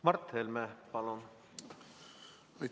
Mart Helme, palun!